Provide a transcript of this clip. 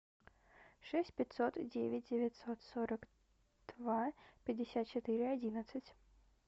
шесть пятьсот девять девятьсот сорок два пятьдесят четыре одиннадцать